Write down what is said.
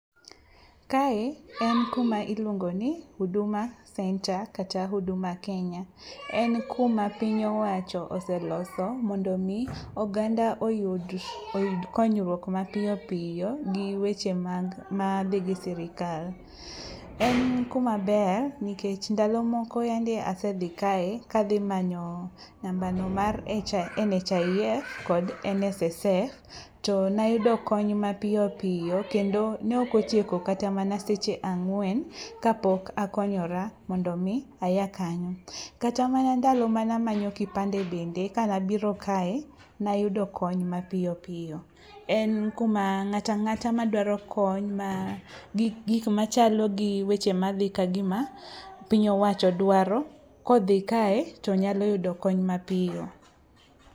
Kae en kuma iluongo ni huduma center kata huduma kenya. En kuma piny owacho oseloso mondo omi oganda oyud konyruok mapiyopiyo gi weche madhi gi sirikal. En kumaber nikech ndalo moko yandi asedhi kae kadhi manyo nambano mar NHIF kod NSSF to nayudo kony mapiyo piyo kendo ne okotieko kata mana seche ang'wen kapok akonyora mondo aya kanyo. Kata mana ndalo manamanyo kipande bende kanabiro kae, nayudo kony mapiyopiyo. En kuma ng'atang'ata madwaro kony ma gikmachalo gi weche madhi kagima piny owacho dwaro, kodhi kae tonyalo yudo kony mapiyo.